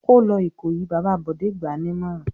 "Kó lọ Ìkòyí!" Bàbá Bọ̀dé gbà á nímọ̀ràn.